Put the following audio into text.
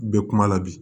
Bɛ kuma la bi